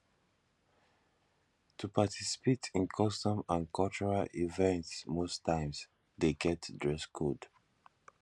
to participate in customs and cultural event most times de get dress code